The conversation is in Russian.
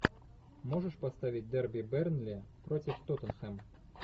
можешь поставить дерби бернли против тоттенхэм